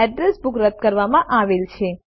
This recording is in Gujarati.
અડ્રેસ બુક રદ કરવામાં આવેલ છે